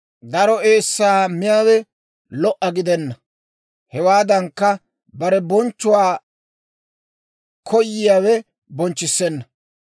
Daro eessaa miyaawe lo"a gidenna; hewaadankka, bare bonchchuwaa koyiyaawe bonchchissenna.